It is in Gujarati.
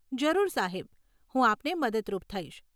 જરૂર સાહેબ, હું આપને મદદરૂપ થઈશ.